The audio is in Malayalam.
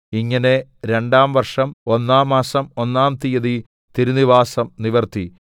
ഇങ്ങനെ രണ്ടാം വർഷം ഒന്നാം മാസം ഒന്നാം തീയതി തിരുനിവാസം നിവർത്തി